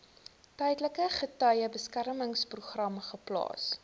tydelike getuiebeskermingsprogram geplaas